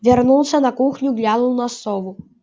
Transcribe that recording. вернулся на кухню глянул на сову